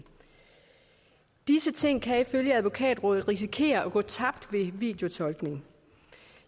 disse ting kan ifølge advokatrådet risikere at gå tabt ved videotolkning